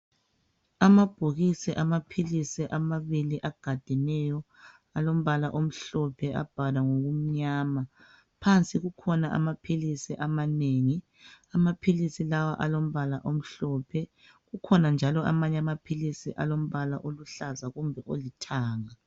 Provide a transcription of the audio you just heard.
Amabhokisi amaphilisi amabili agadeneyo alombala omhlophe abhalwa ngokumnyama Phansi kukhona amaphilisi amanengi Amaphilisi lawa alombala omhlophe Kukhona njalo amanye amaphilisi alombala oluhlaza kumbe olithanga